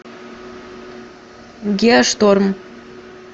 геошторм